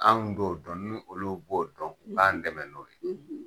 Anw t'o dɔn, ni olu b'o dɔn, , u k'an dɛmɛ n'o ye.